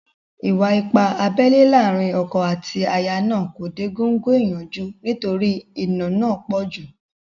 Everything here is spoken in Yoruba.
Ìwà-ipá abẹ́lẹ́ láàrin ọkọ àti aya náà kò dé góńgó ìyanjú nítorí ìnà náà pọ̀ jù